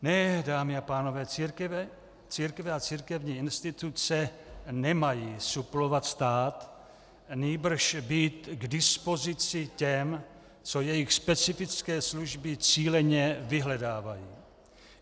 Ne, dámy a pánové, církve a církevní instituce nemají suplovat stát, nýbrž být k dispozici těm, co jejich specifické služby cíleně vyhledávají.